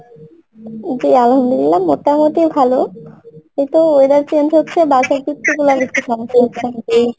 জি, Arbi মোটামুটি ভালো কিন্তু weather change হচ্ছে